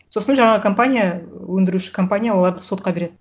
сосын жаңағы компания өндіруші компания оларды сотқа береді